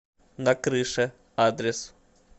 на крыше адрес